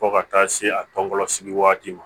Fo ka taa se a tɔnsigi waati ma